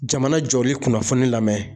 Jamana jɔli kunnafoni lamɛn.